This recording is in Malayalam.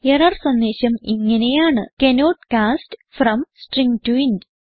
എറർ സന്ദേശം ഇങ്ങനെയാണ് cannot cast from string to int